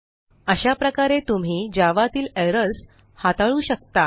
अशाप्रकारे तुम्ही javaतील एरर्स हाताळू शकता